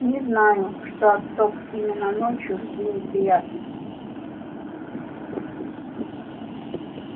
не знаю что от сов именно ночью жди неприятностей